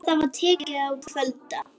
Það var tekið að kvölda.